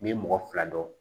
N'i ye mɔgɔ fila dɔn